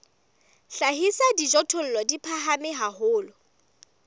hlahisa dijothollo di phahame haholo